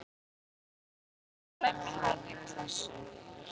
Hann ætlaði að lemja hann í klessu.